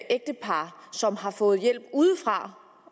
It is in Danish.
ægtepar som har fået hjælp udefra